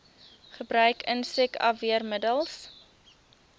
gebruik insek afweermiddels